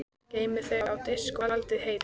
Geymið þau á diski og haldið heitum.